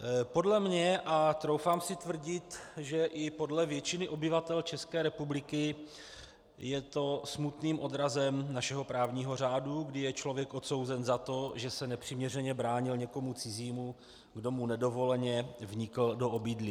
Podle mě, a troufám si tvrdit, že i podle většiny obyvatel České republiky, je to smutným odrazem našeho právního řádu, kdy je člověk odsouzen za to, že se nepřiměřeně bránil někomu cizímu, kdo mu nedovoleně vnikl do obydlí.